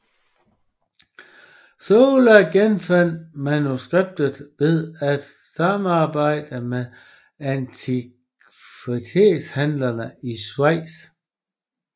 Soalo genfandt manuskriptet ved at samarbejde med antikvitetshandlere i Schweiz